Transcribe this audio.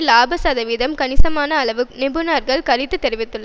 லாப சதவீதம் கணிசமான அளவு குறையும் என நிபுணர்கள் கருத்து தெரிவித்துள்ளனர்